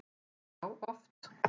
Já, oft